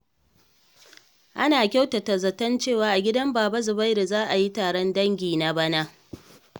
Ana kyautata zaton cewa a gidan Baba Zubairu za a yi taron dangi na bana.